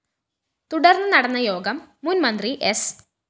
തുടര്‍ന്നു നടന്ന യോഗം മുന്‍ മന്ത്രി സ്‌